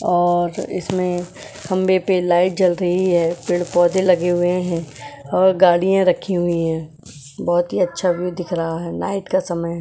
और इसमें खंबे पे लाइट जल रही है पेड़ पौधे लगे हुए हैं और गाड़ियां रखी हुई है बहुत ही अच्छा व्हिव भी दिख रहा है नाइट